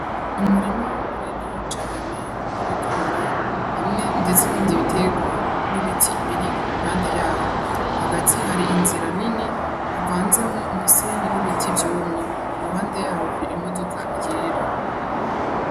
Umurima munini cane w' ibigori hamwe ndetse n' ibindi bitegwa n' ibiti biri impande yaho, hagati hari inzira nini havanzemwo umusenyi n' ibiti vyumye iruhande yaho hari imodoka yera.